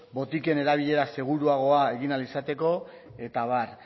botiken erabilera seguruago egin ahal izateko eta abar